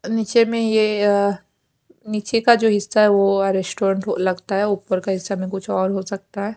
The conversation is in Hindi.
नीचे में ये नीचे का जो हिस्सा है वो रेस्टोरेंट लगता है ऊपर का हिस्सा में कुछ और हो सकता है।